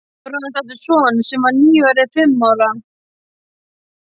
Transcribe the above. Bróðir hans átti son sem var nýorðinn fimm ára.